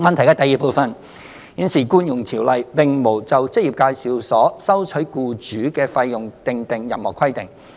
二現時《僱傭條例》並無就職業介紹所收取僱主的費用訂定任何規定。